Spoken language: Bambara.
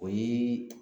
O ye